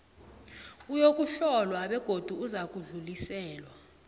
uyokuhlolwa begodu uzakudluliselwa